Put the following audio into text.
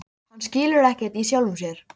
Hann skilur ekkert í sjálfum sér.